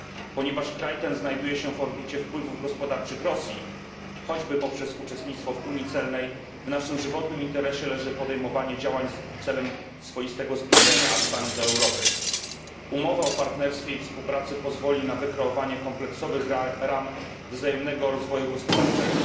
Ponieważ kraj ten znajduje się w orbicie wpływów gospodarczych Rosji, choćby poprzez uczestnictwo w unii celnej, w naszym żywotnym interesie leży podejmowanie działań celem swoistego zbliżenia Astany do Europy. Umowa o partnerstwie i współpracy pozwoli na wykreowanie kompleksowych ram wzajemnego rozwoju gospodarczego.